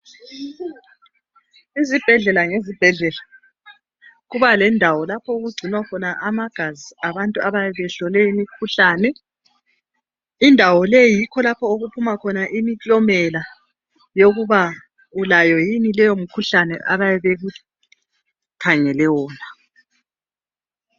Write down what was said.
Izibhedlela nezibhedlela kuba lendawo lapho okugcinwa khona amagazi abantu abayabe behlole imikhuhlane, indawo leyi yikho okuphuma khona imiklomela yokuba ulayo yini leyo mikhuhlane abayabe bekukhangele wona.